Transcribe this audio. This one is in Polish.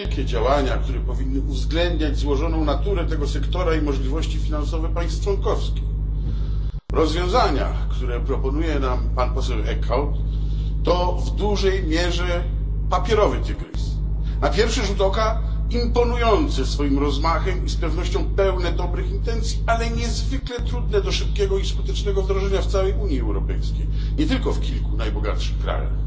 Wszelkie działania powinny uwzględniać złożoną naturę tego sektora i możliwości finansowe państw członkowskich. Rozwiązania, które proponuje nam pan poseł Eickhout, to w dużej mierze papierowy tygrys na pierwszy rzut oka imponujące swoim rozmachem i z pewnością pełne dobrych intencji, ale niezwykle trudne do szybkiego i skutecznego wdrożenia w całej Unii Europejskiej, nie tylko w kilku najbogatszych krajach.